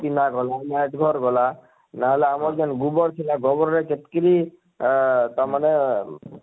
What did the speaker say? ଗଲା ମାଟ ଘର ଗଲା ନାହେଲେ ଆମର ଯେନ ଗୁବର ଥିଲା ଗୋବର ର କେତ କିରି ଆଁ ଆଁ ତା ମାନେ